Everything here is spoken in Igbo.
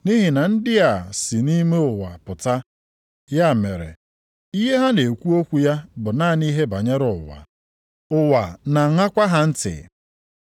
Nʼihi na ndị a si nʼime ụwa pụta. Ya mere, ihe ha na-ekwu okwu ya bụ naanị ihe banyere ụwa. Ụwa na-aṅakwa ha ntị.